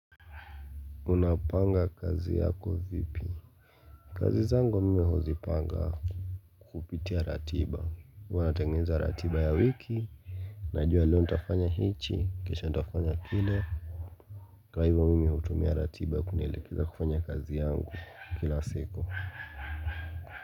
Unapanga kazi yako vipi? Kazi zangu mimi huzipanga kupitia ratiba. Huwa natengeneza ratiba ya wiki. Najua leo ntafanya hiki, kesho nitafanya kile. Kwa hivyo mimi utumia ratiba kunielekeza kufanya kazi yangu kila siku.